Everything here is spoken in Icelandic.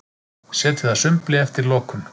Setið að sumbli eftir lokun